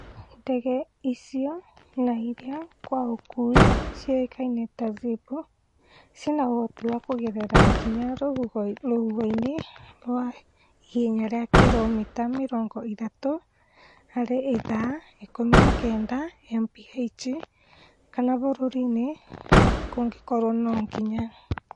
Ndege icio na irĩa kwa ũkuhĩ ciũĩkaine ta Zip, ciĩna ũhoti wa kũgerera nginya rũhuho-inĩ rwa ihenya rĩa kiromita mĩrongo ĩtatũ harĩ ithaa (19mph) kana mbura nini kũngĩkorwo no nginya